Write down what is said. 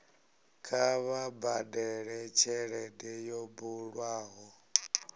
kha vha badele tshelede yo bulwaho